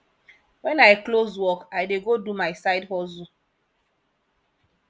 wen i close work i dey go do my side hustle